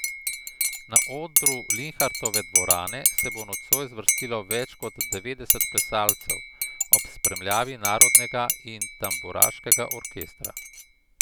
Na odru Linhartove dvorane se bo nocoj zvrstilo več kot devetdeset plesalcev, ob spremljavi narodnega in tamburaškega orkestra.